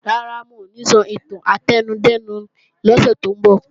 Rárá, wọn ò ní sọ ìtàn átẹnudẹ́nu lọ́sẹ̀ tó ń bọ̀